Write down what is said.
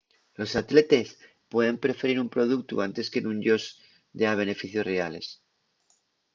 los atletes pueden preferir un productu anque nun-yos dea beneficios reales